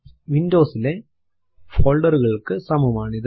Windows ലെ folder കൾക്ക് സമം ആണിത്